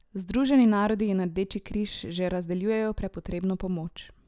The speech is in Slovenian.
Združeni narodi in Rdeči križ že razdeljujejo prepotrebno pomoč.